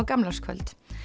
gamlárskvöld